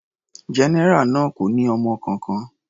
General náà kò ní ọmọ kankan.